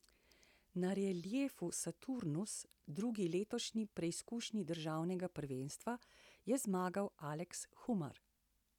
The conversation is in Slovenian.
Na reliju Saturnus, drugi letošnji preizkušnji državnega prvenstva, je zmagal Aleks Humar.